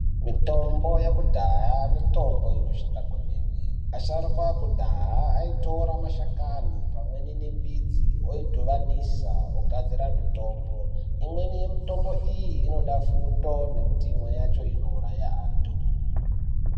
Mitombo yakudhaya mitombo inoshanda kwemene. Asharukwa akudhaya aitora mashakani pamweni nembiti ,oidhuvanisa ogadzira mitombo. Imweni yemitombo iyi, inoda fundo nekuti imwe yacho inouraya antu.